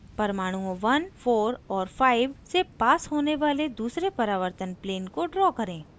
परमाणुओं 14 और 5 से पास होने वाले दूसरे परावर्तन plane को draw करें :